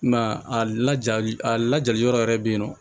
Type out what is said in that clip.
I m'a ye a lajali a lajali yɔrɔ yɛrɛ bɛ yen nɔ